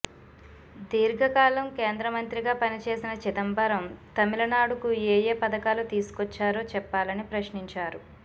దీర్ఘకాలం కేంద్రమంత్రిగా పనిచేసిన చిదంబరం తమిళనాడుకు ఏయే పథకాలు తీసుకొచ్చారో చెప్పాలని ప్రశ్నించారు